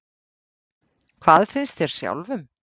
Þorbjörn Þórðarson: Hvað finnst þér sjálfum?